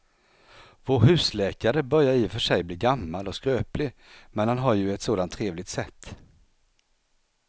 Vår husläkare börjar i och för sig bli gammal och skröplig, men han har ju ett sådant trevligt sätt!